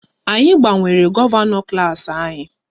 Anyị gbanwere gọvanọ klas anyị